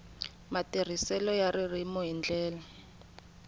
matirhiselo ya ririmi hi ndlela